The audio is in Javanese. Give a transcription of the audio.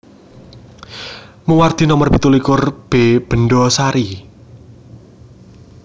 Muwardi Nomer pitulikur B Bendhasari